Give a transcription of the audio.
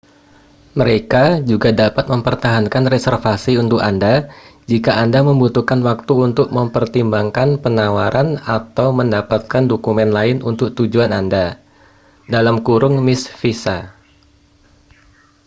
mereka juga dapat mempertahankan reservasi untuk anda jika anda membutuhkan waktu untuk mempertimbangkan penawaran atau mendapatkan dokumen lain untuk tujuan anda mis. visa